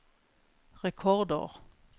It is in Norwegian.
rekordår